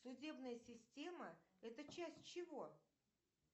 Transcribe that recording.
судебная система это часть чего